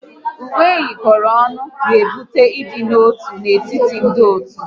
Uwe eyikoro ọnụ na-ebute ịdị n'otu n'etiti ndị otu